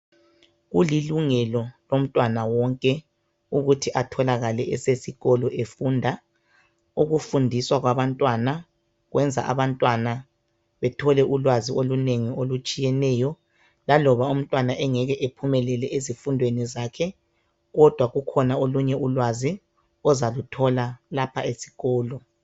Kulilungelo lawonke umntwana ukuba afunde athole ulwazi esikolo laloba umntwana engeke ephumelele ezifundweni zakhe kodwa lukhona ulwazi azaluthola esikolo.